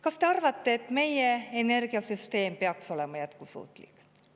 Kas te arvate, et meie energiasüsteem peaks olema jätkusuutlik?